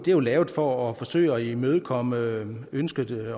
jo lavet for at forsøge at imødekomme ønsket i